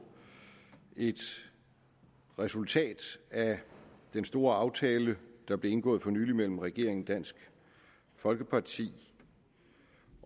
et resultat af den store aftale der blev indgået for nylig mellem regeringen dansk folkeparti